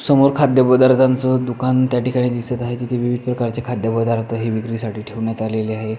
समोर खाद्य पदार्थाच दुकान त्याठिकाणी दिसत आहे तेथे विविध प्रकारचे खाद्य पदार्थ हे विक्रीसाठी ठेवण्यात आलेले आहेत.